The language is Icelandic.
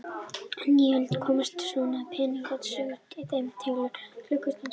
Á nýöld komu svonefndar pendúlklukkur til sögunnar, en í þeim telur klukkan sveiflur pendúls.